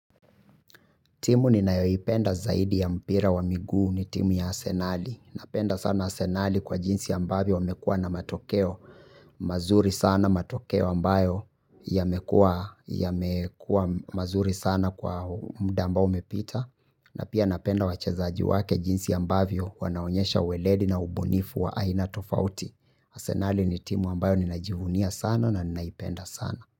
Timu ninayoipenda zaidi ya mpira wa migu ni timu ya arsenali. Napenda sana arsenali kwa jinsi ambavyo wamekua na matokeo mazuri sana, matokeo ambayo yamekua mazuri sana kwa muda ambao umepita. Na pia napenda wachezaji wake jinsi ambavyo wanaonyesha uweledi na ubunifu wa aina tofauti. Arsenali ni timu ambayo ninajivunia sana na ninaipenda sana.